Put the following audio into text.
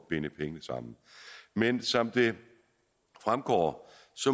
binde penge sammen men som det fremgår